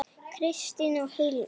Kristín og Hilmar.